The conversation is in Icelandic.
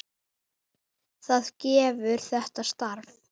Átján tilboð bárust í gær.